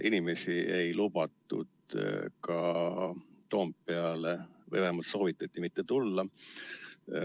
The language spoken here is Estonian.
Inimesi ei lubatud ka Toompeale või vähemalt soovitati mitte tulla.